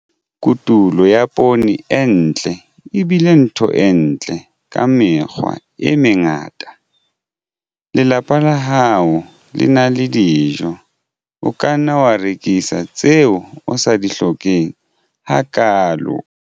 Kotulo ya poone e ntle e bile ntho e ntle ka mekgwa e mengata - lelapa la hao le na le dijo. O ka nna wa rekisa tseo o sa di hlokeng hakaalo.